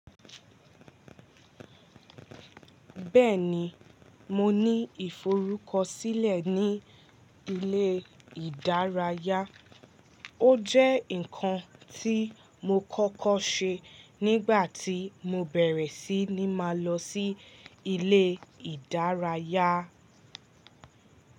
Bẹ́ẹ̀ni, mo ní ìforúkọsílẹ̀ ní ilé ìdárayá. Ó jẹ́ nǹkan tí mo kọ́kọ́ ṣe nígbà tí mo bẹ̀rẹ̀ sí ní máa lọ sí ilé ìdárayá.